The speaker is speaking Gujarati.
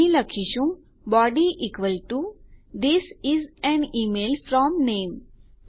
અહીં લખીશું body this is an email from નામે